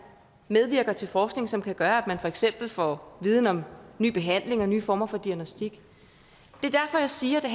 medvirker til forskning som kan gøre at vi for eksempel får viden om ny behandling og nye former for diagnostik det er derfor jeg siger at det